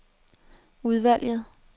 udvalget